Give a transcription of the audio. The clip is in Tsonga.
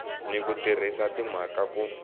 ni ku tirhisa timhaka ku